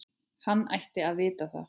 Hann ætti að vita það.